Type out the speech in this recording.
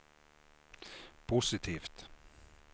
positivt